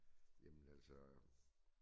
Jamen altså